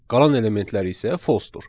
Qalan elementlər isə false-dur.